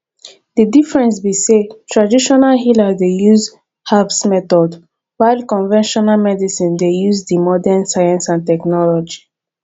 di difference be say traditional healer dey use herbs methods while conventional medicine dey use di modern science and technology